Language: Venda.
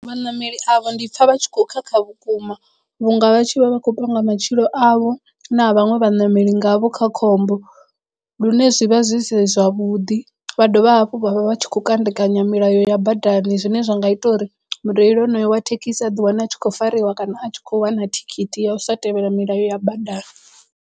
Vhaṋameli avho ndi pfha vha tshi khou khakha vhukuma vhunga vha tshi vha vha khou panga matshilo avho na vhaṅwe vhaṋameli ngavho kha khombo lune zwi vha zwi si zwavhuḓi vha dovha hafhu vha vha vha tshi khou kandekanya milayo ya badani zwine zwa nga ita uri mureili honoyo wa thekhisi a ḓi wane a tshi khou fariwa kana a tshi kho wana thikhithi ya u sa tevhela milayo ya badani.